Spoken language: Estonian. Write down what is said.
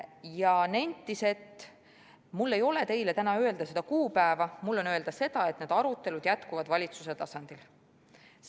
Ta nentis, et tal ei ole meile täna öelda seda kuupäeva, tal on öelda seda, et need arutelud valitsuse tasandil jätkuvad.